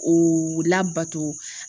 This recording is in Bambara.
O labato